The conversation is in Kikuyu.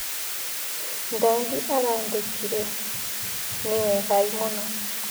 Daudi arandĩkire, "Nĩwegai mũno."